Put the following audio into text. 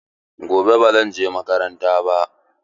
Gobe ba zan je makaranta ba.